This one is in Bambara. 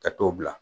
Ka t'o bila